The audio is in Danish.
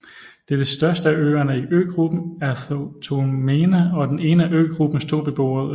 Det er den største af øerne i øgruppen Ertholmene og den ene af øgruppens to beboede øer